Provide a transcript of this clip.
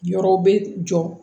Yɔrɔ bɛ jɔ